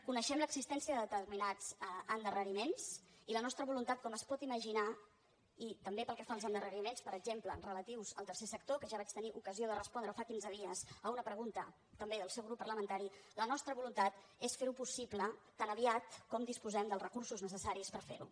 coneixem l’existència de determinats endarreriments i la nostra voluntat com es pot imaginar i també pel que fa als endarreriments per exemple relatius al tercer sector que ja vaig tenir ocasió de respondre fa quinze dies a una pregunta també del seu grup parlamentari és fer ho possible tan aviat com disposem dels recursos necessaris per fer ho